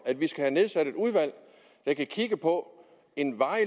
at vi skal have nedsat et udvalg der kan kigge på en varig